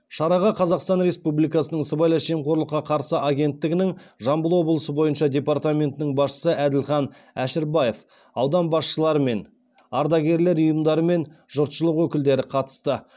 шараға қазақстан рсепубликасының сыбайлас жемқорлыққа қарсы агенттігінің жамбыл облысы бойынша департаментінің басшысы әділхан әшірбаев аудан басшылары мен ардагерлер ұйымдары мен жұртшылық өкілдері қатысты